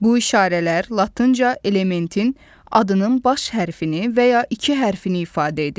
Bu işarələr latınca elementin adının baş hərfini və ya iki hərfini ifadə edir.